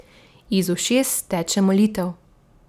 Iz ušes teče molitev.